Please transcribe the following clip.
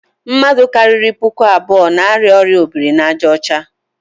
Mmadụ karịrị puku abụọ n'arịa ọrịa obirinaàjàọcha.